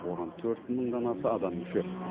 оған төрт мыңнан аса адам мүше